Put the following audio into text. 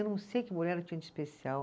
Eu não sei o que o Bolero tinha de especial.